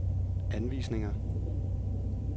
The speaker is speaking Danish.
anvisninger